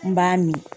N b'a min